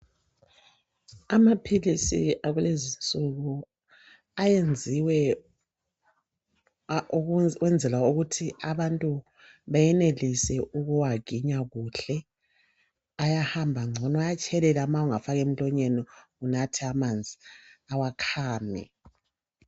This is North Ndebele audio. Amaphilisi akulezinsuku ayenziwe ukwenzela ukuthi abantu bayenelise ukuwaginya kuhle. Ayahamba ngcono, ayatshelela nxa ungawafaka emlonyeni unathe amanzi awakhami.